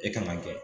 E kan ka kɛ